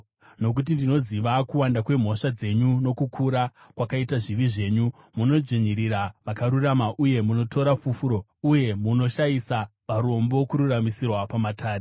Nokuti ndinoziva kuwanda kwemhosva dzenyu nokukura kwakaita zvivi zvenyu. Munodzvinyirira vakarurama uye munotora fufuro, uye munoshayisa varombo kururamisirwa pamatare.